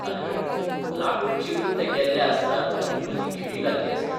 तालगडी लाकूड चिरून ते गेल्ले आसतात आनी मदीं खिळी घाल्ली आसता.